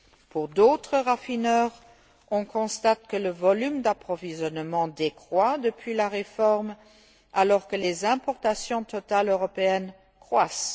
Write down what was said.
Pour d'autres raffineurs, on constate que le volume d'approvisionnement décroît depuis la réforme, alors que les importations totales européennes croissent.